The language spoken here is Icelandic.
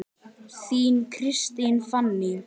Þín, Kristín Fanný.